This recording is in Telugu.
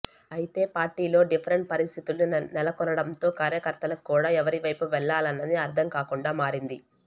అయితే పార్టీలో డిఫరెంట్ పరిస్థితులు నెలకొనడంతో కార్యకర్తలకు కూడా ఎవరివైపు వెళ్లాలన్నది అర్థం కాకుండా మారింది